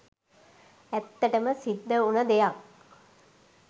ඇත්තටම සිද්ද උන දෙයක්